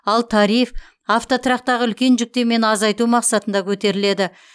ал тариф автотұрақтағы үлкен жүктемені азайту мақсатында көтеріледі